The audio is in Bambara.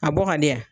A bɔ ka di yan